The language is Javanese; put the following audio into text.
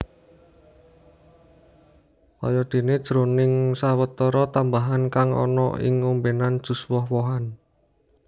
Kayadéné jroning sawetara tambahan kang ana ing ombènan jus woh wohan